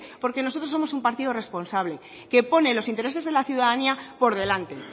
porque nosotros somos un partido responsable que pone los intereses de la ciudadanía por delante